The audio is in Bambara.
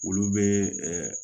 Olu bɛ